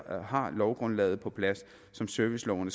har lovgrundlaget på plads som serviceloven